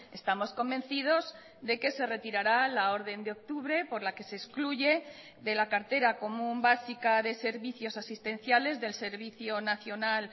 estamos convencidos de que se retirará la orden de octubre por la que se excluye de la cartera común básica de servicios asistenciales del servicio nacional